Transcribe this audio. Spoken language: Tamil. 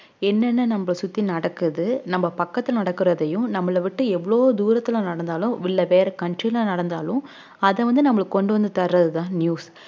என்னென்ன நம்ம சுத்தி நடக்குது நம்ம பக்கத்துல நடக்குறதையும் நம்மள விட்டு எவ்ளோ தூரத்துல நடந்தாலும் இல்ல வேற country ல நடந்தாலும் அத வந்து நம்மளுக்கு கொண்டு வந்து தர்றதுதான் news